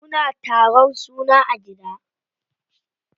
Muna taron suna a gida.